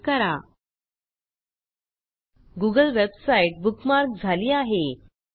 एलटीपॉजेग्ट address बारमधे address निवडून तो डिलीट करा